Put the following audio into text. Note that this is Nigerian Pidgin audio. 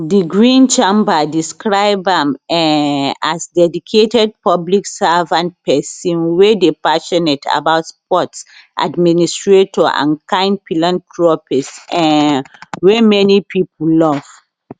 di green chamber describe am um as dedicated public servant pesin wey dey passionate about sports administrator and kind philanthropist um wey many pipo love